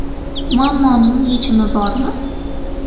Muammoning yechimi bormi?